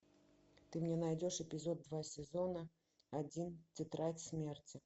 ты мне найдешь эпизод два сезона один тетрадь смерти